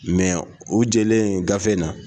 Mɛ u jɛlen gafe in na